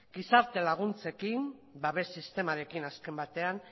gizarte laguntzekin babes sistemarekin azken batean